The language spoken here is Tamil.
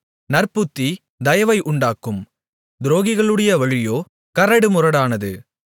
நற்புத்தி தயவை உண்டாக்கும் துரோகிகளுடைய வழியோ கரடுமுரடானது